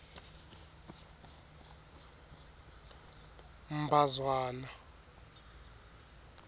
mbazwana